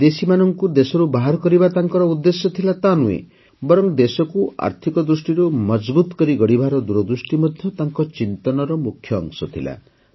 ଖାଲି ବିଦେଶୀମାନଙ୍କୁ ଦେଶରୁ ବାହାର କରିବା ତାଙ୍କର ଉଦ୍ଦେଶ୍ୟ ଥିଲା ତାନୁହେଁ ବରଂ ଦେଶକୁ ଆର୍ଥିକ ଦୃଷ୍ଟିରୁ ମଜଭୁତ୍ କରି ଗଢ଼ିବାର ଦୂରଦୃଷ୍ଟି ମଧ୍ୟ ତାଙ୍କ ଚିନ୍ତନର ମୁଖ୍ୟ ଅଂଶ ଥିଲା